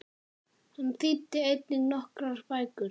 Hann þýddi einnig nokkrar bækur.